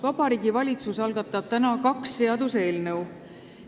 Vabariigi Valitsus algatab täna kaks seaduseelnõu.